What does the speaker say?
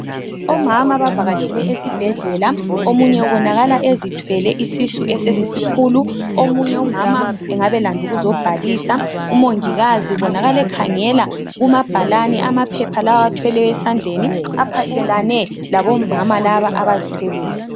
Omama bavakatshele esibhedlela omunye ubonakala ezithwele isisu esesisisikhulu .Omunye umama engabe elande ukuzobhalisa, umongikazi ubonakala ekhangela kumabhalane amaphepha lawa awathwele esandleni aphathelane labomama laba abazithweleyo.